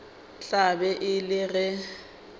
tla be e le ge